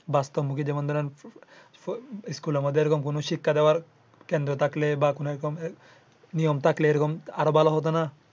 বাস্তব মুখী যেমন ধরেন school এর মধ্যে এমন কোনো শিক্ষা দেওয়ার কেন্দ্র থাকলে বা কোনো এমন নিয়ম থাকলে আরো ভালো হতো না।